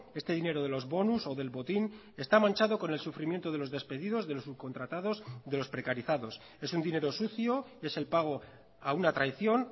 este dinero de los bonus o del botín está manchado con el sufrimiento de los despedidos de los subcontratados de los precarizados es un dinero sucio es el pago a una traición